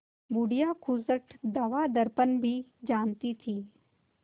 बुढ़िया खूसट दवादरपन भी जानती थी